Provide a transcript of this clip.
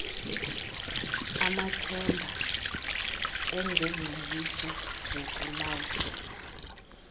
amathemba engengcebiso zokulawulwa